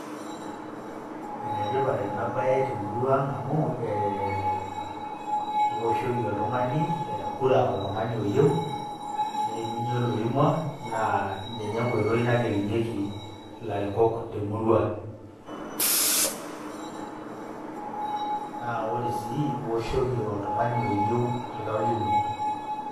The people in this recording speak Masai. Enetipat enabaye temurua aang amu ee keoshoki oltungani kura oltungani oyiou neimunyie oloimua naa ninye engotoi nagelunyieki ilarikok temurua. Naa ore sii eoshoki oltungani oyiou oltau lino.